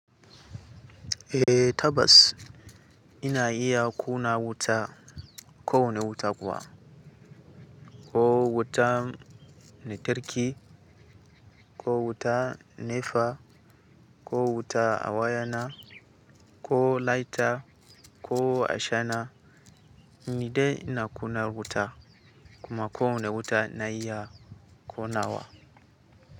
Eh tabbas, ina iya ƙunna wuta, ko wane wuta kuwa, koh wutan lantarki, koh wutan nefa, koh wuta a wayana, koh lighter, ko ashana, ni dai na ƙunna wuta, kuma ko wane wuta na iya ƙonawa.